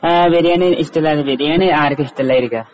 അഹ് ബിരിയാണി ഇഷ്ടാണ്. ബിരിയാണി ആർക്കാ ഇഷ്ടിലായിരിക്കാ.